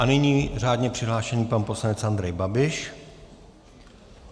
A nyní řádně přihlášený pan poslanec Andrej Babiš.